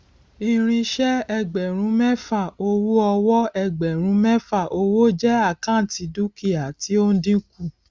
irinṣẹ ẹgbẹrún mẹfà owó ọwọ ẹgbẹrún mẹfà owó jẹ àkáǹtì dúkìá tí ó ń dínkù